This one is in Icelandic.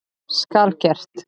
Skal gert!